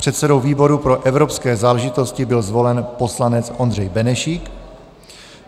Předsedou výboru pro evropské záležitosti byl zvolen poslanec Ondřej Benešík.